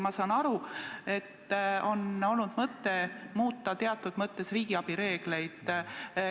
Ma saan aru, et on olnud mõte muuta teatud mõttes riigiabi reegleid.